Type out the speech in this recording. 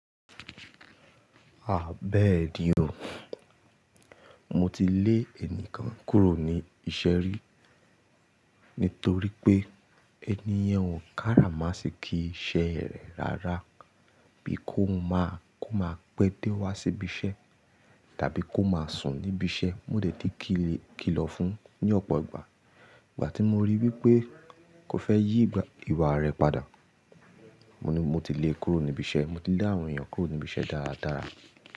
À bẹ̀eni o. Mo ti lé ènìkan kúrò ní ìṣẹ́ rí nítorí pé ènìyàn ò káràmáṣikí iṣẹ́ rẹ̀ rárá, bí kò má pé dé wá sí ibi iṣẹ́ tàbí kò má sùn níbi iṣẹ́. Mo dẹ̀ tí kìlọ̀ fún ní ọ̀pọ̀ ìgbà. Ìgbà tí mo rí wípé kò fẹ́ yí ìwà rẹ̀ padà, mo ti lè kúrò níbi iṣẹ́. Mo ti lé àwọn èeyàn kúrò níbi iṣẹ́ dáradára.